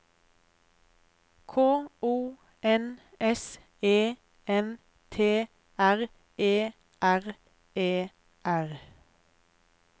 K O N S E N T R E R E R